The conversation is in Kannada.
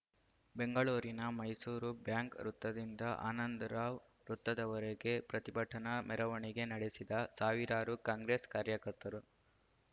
ಬೆಂಗಳೂರಿನ ಮೈಸೂರು ಬ್ಯಾಂಕ್‌ ವೃತ್ತದಿಂದ ಆನಂದರಾವ್‌ ವೃತ್ತದವರೆಗೆ ಪ್ರತಿಭಟನಾ ಮೆರವಣಿಗೆ ನಡೆಸಿದ ಸಾವಿರಾರು ಕಾಂಗ್ರೆಸ್‌ ಕಾರ್ಯಕರ್ತರು